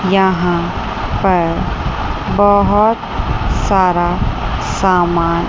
यहां पर बहुत सारा सामान--